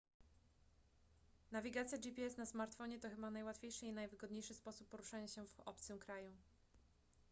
nawigacja gps na smartfonie to chyba najłatwiejszy i najwygodniejszy sposób poruszania się w obcym kraju